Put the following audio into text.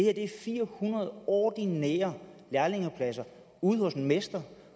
er fire hundrede ordinære lærlingepladser ude hos en mester